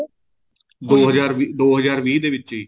ਦੋ ਹਜ਼ਾਰ ਦੋ ਹਜ਼ਾਰ ਵੀਹ ਦੇ ਵਿੱਚ